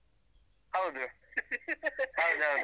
ಹೌದು. ಹೌದೌದು.